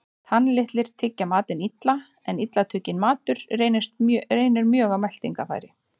Tannlitlir tyggja matinn illa, en illa tugginn matur reynir mjög á meltingarfæri.